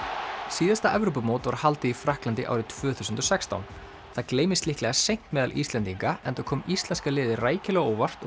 síðasta Evrópumót var haldið í Frakklandi árið tvö þúsund og sextán það gleymist líklega seint meðal Íslendinga enda kom íslenska liðið rækilega á óvart og